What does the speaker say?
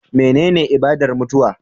Menene ibadar mutuwa